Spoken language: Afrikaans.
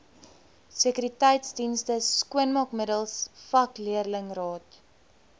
sekuriteitsdienste skoonmaakmiddels vakleerlingraad